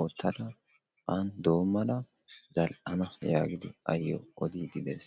oottada a doommada zal"ana yaagidi awu odiidi de'ees.